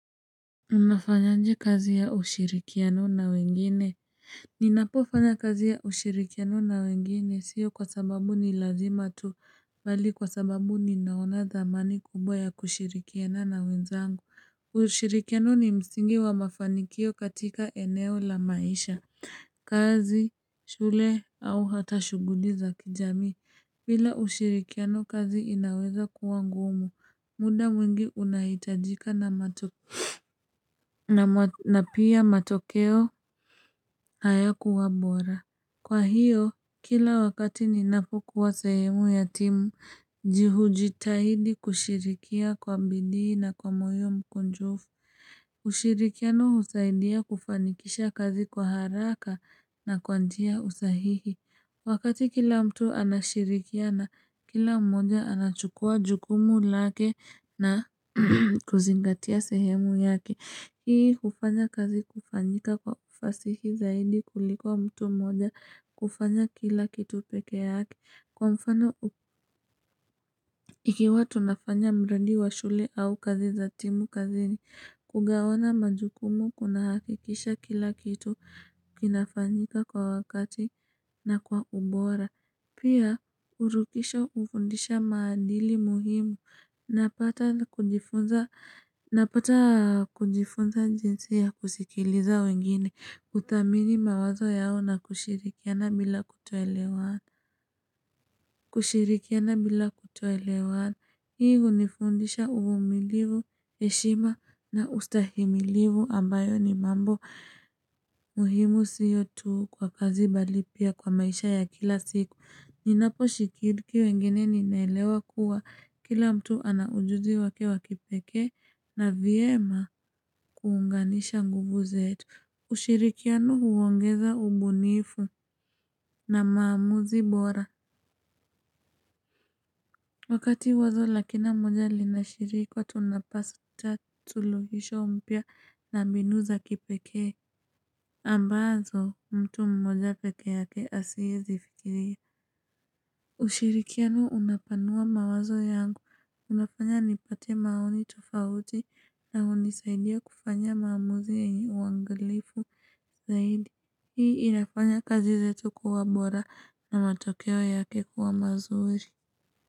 Unafanyanje kazi ya ushirikiano na wengine Ninapofanya kazi ya ushirikiano na wengine siyo kwa sababu ni lazima tu Bali kwa sababu ninaona dhamani kubwa ya kushirikiana na wenzangu ushirikiano ni msingi wa mafanikio katika eneo la maisha kazi, shule, au hata shuguli za kijami bila ushirikiano kazi inaweza kuwa ngumu, muda mwingi unahitajika na matu na pia matokeo haya kuwabora. Kwa hiyo, kila wakati ninapokuwa sehemu ya timu, jihujitahidi kushirikia kwa mbidi na kwa mwio mkunjufu. Ushirikiano husaidia kufanikisha kazi kwa haraka na kwantia usahihi. Wakati kila mtu anashirikia na kila mmoja anachukua jukumu lake na kuzingatia sehemu yake. Hii kufanya kazi kufanyika kwa ufasihi zaidi kuliko mtu moja kufanya kila kitu peke yake kwa mfano ikiwa tunafanya mradi wa shule au kazi zatimu kazini kugawana majukumu kunahakikisha kila kitu kinafanyika kwa wakati na kwa ubora. Pia urukisha ufundisha maandili muhimu. Napata kujifunza jinsi ya kusikiliza wengine. Kuthamini mawazo yao na kushirikiana bila kutoelewana. Kushirikiana bila kutoelewana hii hunifundisha uvumilivu eshima na ustahimilivu ambayo ni mambo muhimu siyo tuu kwa kazi bali pia kwa maisha ya kila siku Ninapo shikiriki wengine ninaelewa kuwa kila mtu ana ujuzi wake wakipeke na viema kuunganisha nguvu zetu ushirikiano huwangeza ubunifu na maamuzi bora Wakati wazo la kila mmoja linashirikwa tunapasa cha tuluhisho umpia na binu za kipeke. Ambazo mtu mmoja peke yake asie zifikiria. Usirikiano unapanua mawazo yangu unafanya nipate maoni tofauti na unisaidia kufanya maamuzi ya uangalifu zaidi. Hii ilafanya kazi zetu kuwa bora na matokeo yake kuwa mazuri.